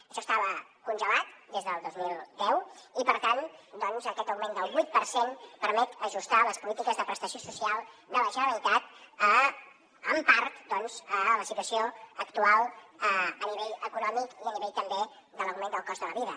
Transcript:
això estava congelat des del dos mil deu i per tant aquest augment del vuit per cent permet ajustar les polítiques de prestació social de la generalitat en part doncs a la situació actual a nivell econòmic i a nivell també de l’augment del cost de la vida